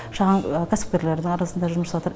шағын кәсіпкерлердің арасында жұмыс жасаватыр